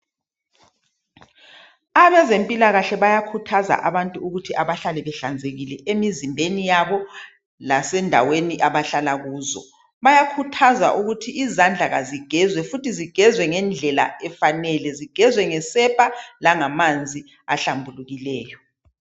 Abazempilakahle bayakhuthaza abantu ukuthi abahlale behlanzekile emizimbeni yabo lasendaweni abahlala kuzo. Bayakhuthaza ukuthi izandla kazigezwe futhi zigezwe ngendlela efanele, zigezwe ngesepa langamanzi ahlambulukileyo.